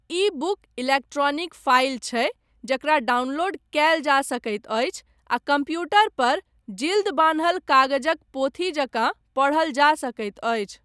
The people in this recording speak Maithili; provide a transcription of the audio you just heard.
ई बुक इलेक्ट्रॉनिक फाइल छै जकरा डाउनलोड कयल जा सकैत अछि आ कम्प्यूटर पर जिल्द बान्हल कागजक पोथी जकाँ पढ़ल जा सकैत अछि।